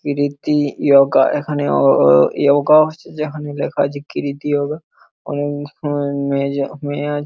কৃতি যোগা এখানে অ- অ- যোগা হচ্ছে যেখানে লেখা আছে কৃতি যোগা এবং মেয়ে মেয়ে আছে।